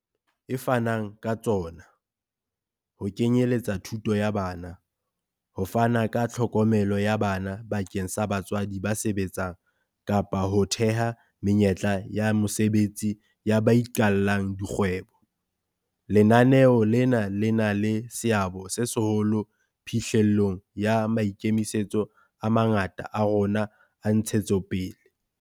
e fanang ka tsona, ho kenye letsa thuto ya bana, ho fana ka tlhokomelo ya bana bakeng sa batswadi ba sebetsang kapa ho theha menyetla ya mosebetsi ya ba iqallang di kgwebo, lenaneo lena le na le seabo se seholo phihlellong ya maikemisetso a mangata a rona a ntshetsopele.